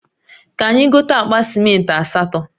Ka anyi gote akpa simenti asato